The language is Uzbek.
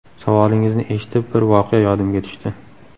Savolingizni eshitib, bir voqea yodimga tushdi.